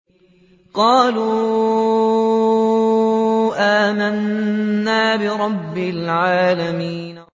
قَالُوا آمَنَّا بِرَبِّ الْعَالَمِينَ